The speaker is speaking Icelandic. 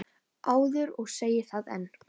áður og segi það enn.